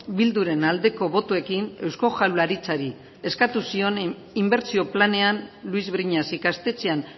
bilduren aldeko botoekin eusko jaurlaritzari eskatu zion inbertsio planean luis briñas ikastetxean